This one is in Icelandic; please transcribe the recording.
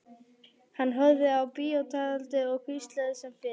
Hann horfði á bíótjaldið og hvíslaði sem fyrr.